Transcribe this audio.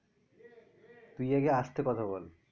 তুই আগে আস্তে কথা বল